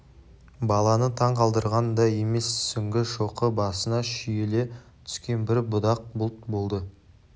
баланы таң қалдырған да емес сүңгі шоқы басына шүйіле түскен бір будақ бұлт болды